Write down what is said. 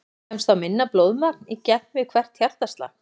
Kemst þá minna blóðmagn í gegn við hvert hjartaslag.